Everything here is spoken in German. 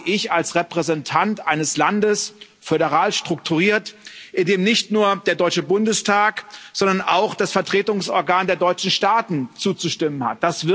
Das sage ich als Repräsentant eines Landes föderal strukturiert in dem nicht nur der Deutsche Bundestag, sondern auch das Vertretungsorgan der deutschen Staaten zuzustimmen hat.